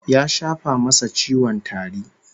Ya shafa masa ciwon tari